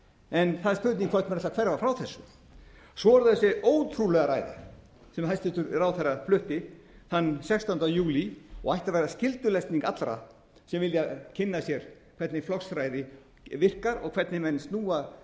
en það er spurning hvort menn ætli að hverfa frá þessu svo er það þessi ótrúlega ræða sem hæstvirtur ráðherra flutti þann sextánda júlí og ætti að vera skyldulesning allra sem vilja kynna sér hvernig flokksræði virkar og hvernig menn snúa